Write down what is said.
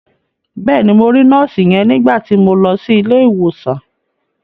Bẹ́ẹ̀ni, mo rí nọ́ọ̀sì yẹn nígbà ti mo lọ sí ilé ìwòsàn.